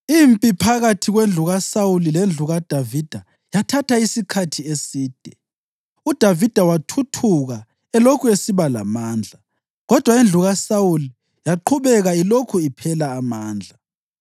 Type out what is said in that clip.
Impi phakathi kwendlu kaSawuli lendlu kaDavida yathatha isikhathi eside. UDavida wathuthuka elokhu esiba lamandla, kodwa indlu kaSawuli yaqhubeka ilokhu iphela amandla.